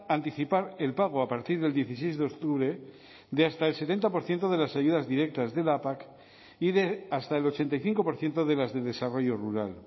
anticipar el pago a partir del dieciséis de octubre de hasta el setenta por ciento de las ayudas directas de la pac y de hasta el ochenta y cinco por ciento de las de desarrollo rural